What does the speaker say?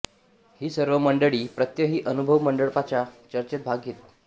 ही सर्व मंडळी प्रत्यही अनुभव मंडपाच्या चर्चेत भाग घेत